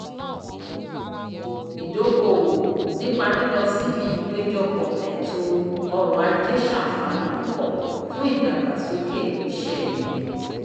ìdókoòwò nípa lílọ síbi ìpéjọpọ̀ ẹ̀to ọrọ̀ ajé sànfàní púpọ̀ fún ìdàgbàsókè ìṣẹ́ ẹni